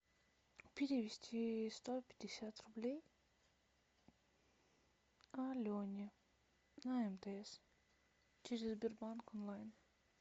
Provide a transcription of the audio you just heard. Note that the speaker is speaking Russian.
перевести сто пятьдесят рублей алене на мтс через сбербанк онлайн